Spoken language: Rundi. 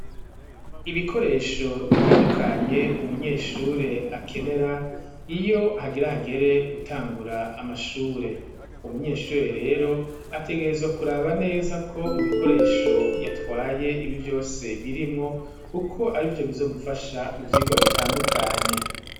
Ibikoresho bitandukanye umunyeshure akenera iyo hagire hagere gutangura amashure, umunyeshure rero ategerezwa kuraba neza ko mu bikoresho yatwaye vyose birimwo kuko arivyo bizomufasha mu vyigwa bitandukanye.